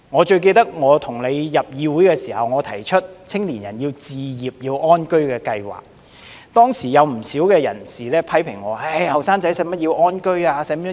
最記得我與代理主席你進入議會時我曾提出，青年人要置業安居的計劃，當時有不少人批評我，青年人何須安居置業？